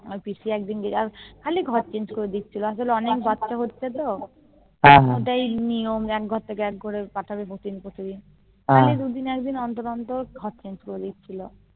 আমার পিসি খালি ঘরে Change করে দিচ্ছে লজ্জা অনেক বাচ্চা হচ্ছে তো তাই অতি নিয়ম এক ঘর থেকে অন্য ঘর পাঠাবে খালি দু দিন অন্তর অন্তর ঘরে প্লট্ দিচ্ছে